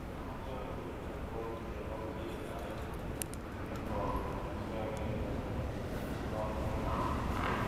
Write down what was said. Amache aguur amitwogik chebo chinaek kembouni asiageer kole Kona ne